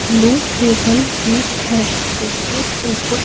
blue table भी है जिसके ऊपर--